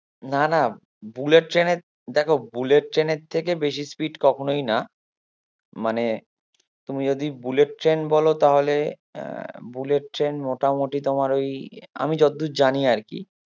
না না বুলেট ট্রেনের দেখো বুলেট ট্রেনের থেকে বেশি speed কখনোই না মানে তুমি যদি বুলেট ট্রেন বলো তাহলে আহ বুলেট ট্রেন মোটামুটি তোমার ওই আমি যতদূর জানি আরকি